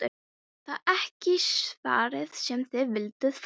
Það er ekki svarið sem þið vilduð fá.